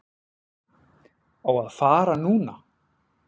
Á að fara núna.